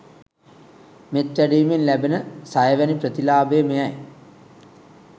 මෙත් වැඩීමෙන් ලැබෙන සයවැනි ප්‍රතිලාභය මෙයයි.